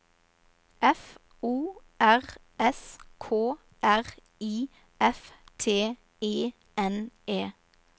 F O R S K R I F T E N E